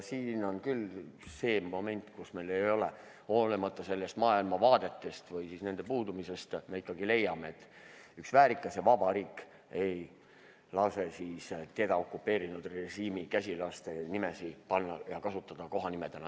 Siin on küll see moment, et hoolimata maailmavaadetest või nende puudumisest leiame ikkagi, et üks väärikas ja vaba riik ei lase teda okupeerinud režiimi käsilaste nimesid kasutada kohanimedena.